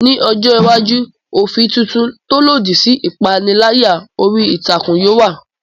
Ní ọjọ́ iwájú, òfin tuntun tó lòdì sí ìpániláyà orí ìtàkùn yóò wà.